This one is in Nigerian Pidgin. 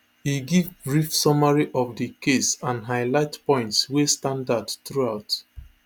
e give brief summary of di case and highlight points wey stand out throughout